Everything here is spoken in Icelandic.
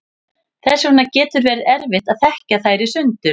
þess vegna getur verið erfitt að þekkja þær í sundur